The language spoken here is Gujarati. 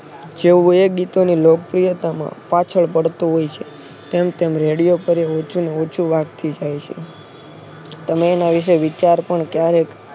જેઓ એ ગીતો ની લોકપ્રિયતામાં પાછળ પડતો હોય છે. તેમ તેમ રેડિયો પર ઉંચુ ને ઉંચુ વાગતી જાય છે. તમે એના વિશે વિચાર પણ ક્યારેક